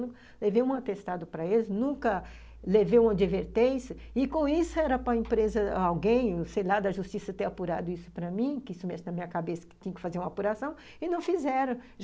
Eu nunca levei um atestado para eles, nunca levei uma advertência, e com isso era para a empresa, alguém, sei lá, da justiça ter apurado isso para mim, que isso mexe na minha cabeça, que tinha que fazer uma apuração, e não fizeram.